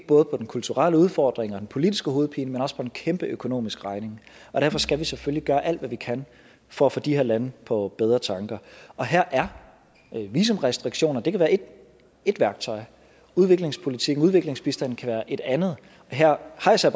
på den kulturelle udfordring og den politiske hovedpine men også på en kæmpe økonomisk regning og derfor skal vi selvfølgelig gøre alt hvad vi kan for at få de her lande på bedre tanker og her kan visumrestriktioner være et værktøj og udviklingspolitikken udviklingsbistanden kan være et andet her hejser